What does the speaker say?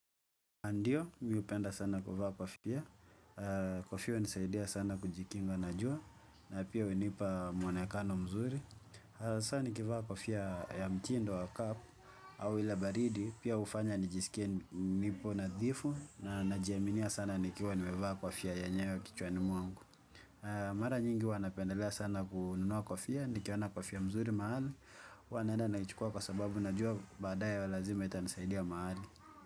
Ndio mimi hupenda sana kuvaa kofia. Kofia hunisaidia sana kujikinga na jua na pia hunipa mwonekano mzuri. Sasa nikivaa kofia ya mtindo wa kapu au ile baridi, pia hufanya nijisikia nipo nadhifu, na najiaminia sana nikiwa nimevaa kofia yenyewe kichwani mwangu. Mara nyingi huwa napendelea sana kununua kofia, nikiona kofia mzuri mahali, huwa naenda naichukua kwa sababu najua baadaye lazima itanisaidia mahali.